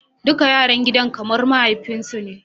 Duk yaran gidan kamar mahaifinsu ne.